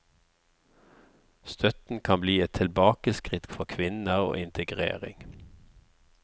Støtten kan bli et tilbakeskritt for kvinner og integrering.